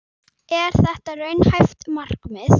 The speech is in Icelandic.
En er þetta raunhæft markmið?